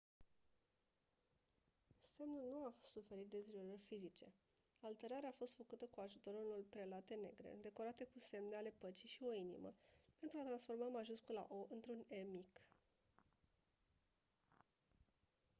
semnul nu a suferit deteriorări fizice; alterarea a fost făcută cu ajutorul unor prelate negre decorate cu semne ale păcii și o inimă pentru a transforma majuscula «o» într-un «e» mic.